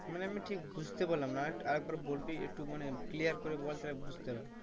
মানে আমি ঠিক বুঝতে পারলাম না আর একবার বলবি? একটু মানে clear করে বল তাহলে বুঝতে পারবো।